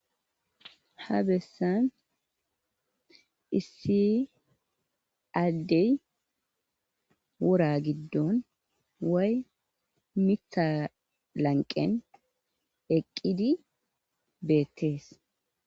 Ha bessan issi addey wora giddon way mitha lanqen eqqidi beettees.